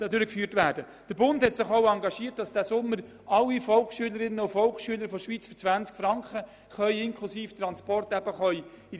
Der Bund hat sich auch dafür engagiert, dass alle Volksschülerinnen und Volksschüler in diesem Jahr für 20 Franken inklusive Transport an diesem Anlass teilnehmen können.